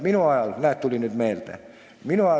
Minu ajal – näed, tuli nüüd meelde!